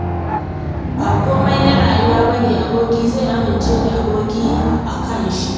Ba komai na rayuwa ba ne aboki zai amincewa aboki a kan shi.